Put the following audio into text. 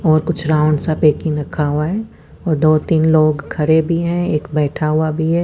वो कुछ राउंड्स सा पेकिंग रखा हुआ है और दो तिन लोग खड़े भी है एक बेठा हुआ भी है।